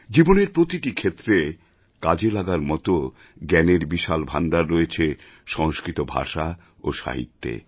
জীবনের প্রতিটি ক্ষেত্রে কাজে লাগার মত জ্ঞানের বিশাল ভাণ্ডার রয়েছে সংস্কৃত ভাষা ও সাহিত্যে